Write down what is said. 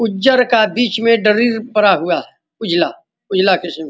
उज्जर का बीच में डरीर पड़ा हुआ है। उजला उजला किस्म --